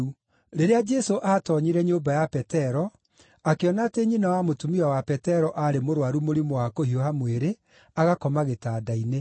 Rĩrĩa Jesũ aatoonyire nyũmba ya Petero, akĩona atĩ nyina wa mũtumia wa Petero aarĩ mũrũaru mũrimũ wa kũhiũha mwĩrĩ, agakoma gĩtanda-inĩ.